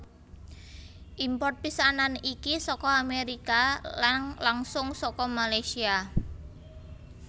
Import pisanan iki saka Amérika lang langsung saka Malaysia